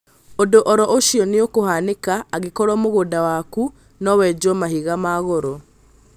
Ũndũ oro ũcio nĩũkũhanĩka angĩkorwo mũgũnda waku nowejwo mahiga magoro